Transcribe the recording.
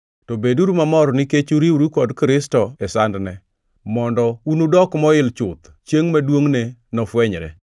To beduru mamor nikech uriworu kod Kristo e sandne, mondo unudok moil chuth chiengʼ ma duongʼne nofwenyre.